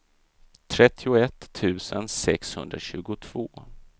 trettioett tusen sexhundratjugotvå